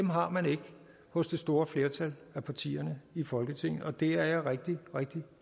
har man ikke hos det store flertal af partier i folketinget og det er jeg rigtig rigtig